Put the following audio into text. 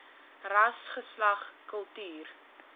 ras geslag kultuur